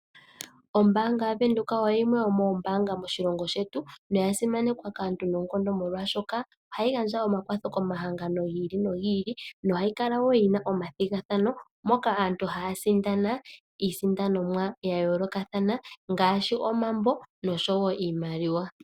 Ombaanga yaVenduka oyo yimwe yomoombanga moshilongo shetu, no ya simanekwa kaantu noonkondo molwaashoka ohayi gandja omakwatho komahangano gi ili nogi ili nohayi kala woo yina omathigathano moka aantu ha ya sindana iisindanomwa ya yoolokathana ngaaashi omambo noshowo iimaliwa.